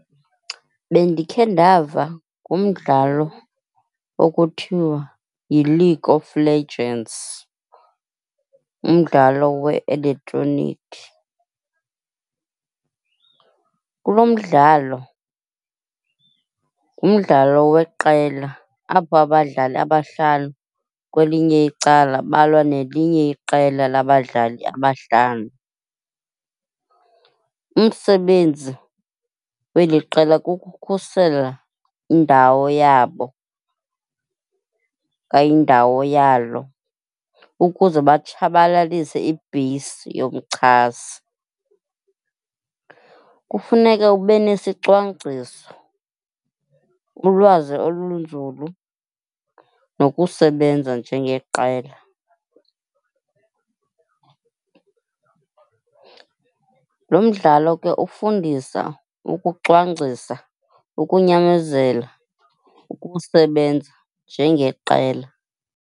Bendikhe ndava ngomdlalo okuthiwa yi-League of Legends, umdlalo we-elektronikhi. Kuloo mdlalo ngumdlalo weqela apho abadlali abahlanu kwelinye icala balwa nelinye iqela labadlali abahlanu. Umsebenzi weli qela kukukhusela indawo yabo okanye indawo yalo ukuze batshabalalise ibheyisi yomchasi. Kufuneka ube nesicwangciso, ulwazi olunzulu nokusebenza njengeqela. Lo mdlalo ke ufundisa ukucwangcisa, ukunyamezela, ukusebenza njengeqela.